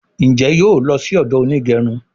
Njé yóò ló sì odo Onigerun?